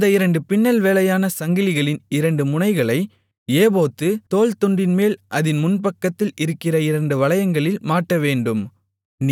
அந்த இரண்டு பின்னல் வேலையான சங்கிலிகளின் இரண்டு முனைகளை ஏபோத்துத் தோள்துண்டின்மேல் அதின் முன்பக்கத்தில் இருக்கிற இரண்டு வளையங்களில் மாட்டவேண்டும்